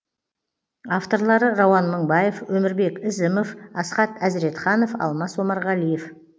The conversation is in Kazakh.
авторлары рауан мыңбаев өмірбек ізімов асхат әзіретханов алмас омарғалиев